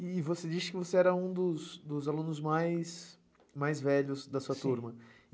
E você disse que você era um dos dos alunos mais mais velhos da sua turma. Sim